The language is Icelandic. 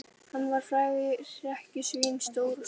Hann var frægt hrekkjusvín, stór og sterkur.